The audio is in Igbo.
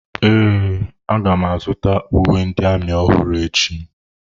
Ee, aga m azụta uwe ndị amị ọhụrụ echi.